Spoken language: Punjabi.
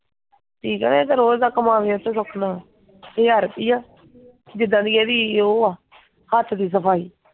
ਜੀ ਕਰੇ ਇਹ ਤਾਂ ਰੋਜ ਦਾ ਕਮਾਵੇ ਸੁਖ ਨਾਲ, ਹਜਾਰ ਰੁਪਈਆ। ਜਿੱਦਾਂ ਦੀ ਇਹਦੀ ਉਹ ਆ, ਹੱਥ ਦੀ ਸਫਾਈ।